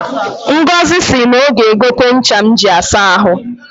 Ngọzị si na ọga egote ncha m ji asa ahụ